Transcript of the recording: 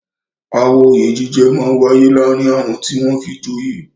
Aáwọ̀ oyè jíjẹ máa ń wáyé láàárín àwọn tí wọ́n fi joyè.